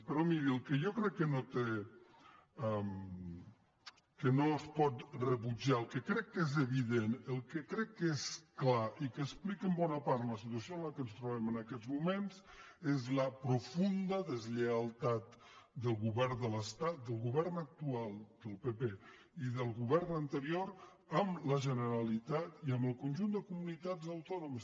però miri el que jo crec que no es pot rebutjar el que crec que és evident el que crec que és clar i que explica en bona part la situació en què ens trobem en aquests moments és la profunda deslleialtat del govern de l’estat del govern actual del pp i del govern anterior amb la generalitat i amb el conjunt de comunitats autònomes